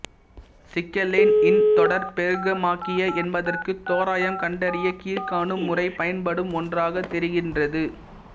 சிக்கலெண் இன் தொடர் பெருக்கமாகிய என்பதற்கு தோராயம் கண்டறிய கீழ்க்காணும் முறை பயன்படும் ஒன்றாகத் தெரிகின்றது